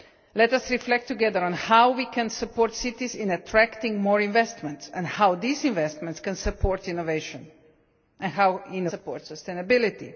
Let us reflect together on how we can support cities in attracting more investment and how this investment can support innovation and how innovation can support sustainability.